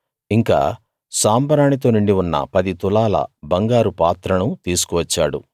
ఇంకా సాంబ్రాణి తో నిండి ఉన్న పది తులాల బంగారు పాత్రను తీసుకు వచ్చాడు